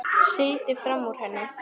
Sigldi fram úr henni.